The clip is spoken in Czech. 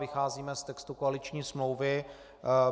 Vycházíme z textu koaliční smlouvy.